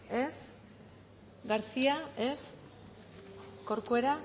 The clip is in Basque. ez garcía ez corcuera